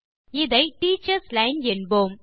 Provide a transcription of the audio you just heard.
இதை teachers line என்போம்